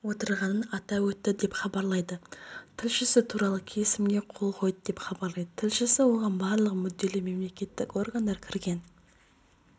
отырғанын атап өтті деп хабарлайды тілшісі туралы келісімге қол қойды деп хабарлайды тілшісі оған барлық мүдделі мемлекеттік органдар кірген